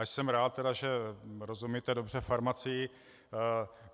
A jsem rád tedy, že rozumíte dobře farmacii.